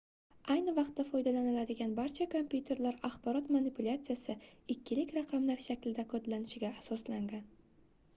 ayni vaqtda foydalaniladigan barcha kompyuterlar axborot manipulyatsiyasi ikkilik raqamlar shaklida kodlanishiga asoslangan